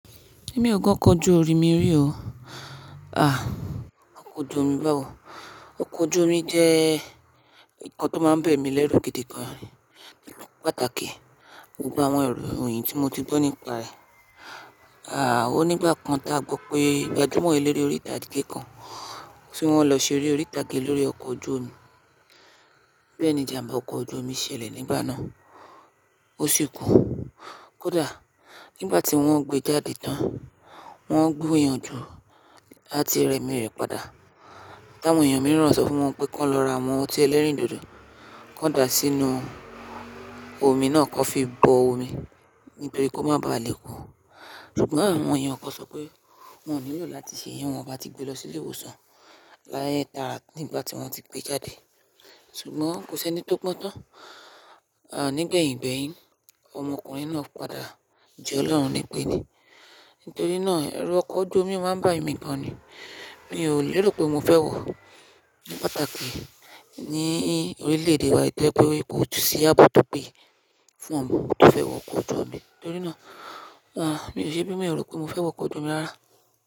Mi ò gọ́ ọkọ̀ ojú omi rí o. À, ọkọ̀ ojú omi báwo? Ọkọ̀ ojú omi jẹ́ nǹkan tó máa ń bẹ̀ mí lẹ́rù gidi gan-an, ní pàtàkì gbogbo àwọn èrò yìí tí mo ti gbọ́ nípa rẹ̀. À, ó nígbà kan ta gbọ́ pé gbàju mọ́ ẹ lere orí ìtàgé kan, tí wọ́n lọ ṣeré orí ìtàgé lórí ọkọ̀ ojú omi. Bẹ́ẹ̀ ni ìjàmbá ọkọ̀ ojú omi ṣẹlẹ̀ nígbà náà, ó sì kú. Kódà nígbà tí wọ́n ń gbé e jáde tán, wọ́n ń gbúyanjú láti rẹ mi rẹ̀ padà. Táwọn èèyàn mìíràn sọ fún wọn pé kí wọ́n lọ ra awon ọtí ẹlẹ́rìndòdò, kí wọ́n dà á sínú omi náà kí wọ́n fi bọ omi nítorí kó má ba à lè kú. Ṣùgbọ́n àwọn èèyàn kan sọ pé wọn ò nílò láti ṣe iyẹn tí wọ́n bá ti gbé e lọ sí ilé ìwòsàn. Láyé tára nígbà tí wọ́n ti gbé e jáde. Ṣùgbọ́n kò sí ẹni tó gbon tán. À, nígbẹ̀yìngbeyin, ọmọkùnrin náà padà je ọlọ́run nípe ni. Nítorí náà, ẹrù ọkọ̀ ojú omi máa ń bà emí gan-an ni. Èmi ò nílò pé mo fẹ́ wọ̀. Ní pàtàkì ni orílẹ̀-èdè wa tọ́ pé wípé ó ju sí àbọ̀ tó pé fún ọmọ tó fẹ́ wọ ọkọ̀ ojú omi. Nítorí náà, à, mi ò ṣe bí mo lè rò pé mo fẹ́ wọ ọkọ̀ ojú omi rárá.